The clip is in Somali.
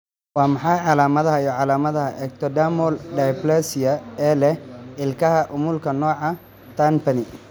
Waa maxay calaamadaha iyo calaamadaha Ectodermal dysplasia ee leh ilkaha umulku nooca Turnpenny?